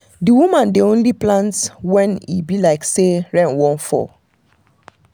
di woman dey only plany when e when e be like say rain wan fall.